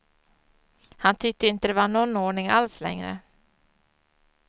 Han tyckte inte det var någon ordning alls längre.